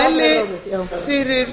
ég mæli fyrir